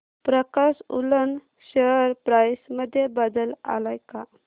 प्रकाश woollen share price मध्ये बदल आलाय का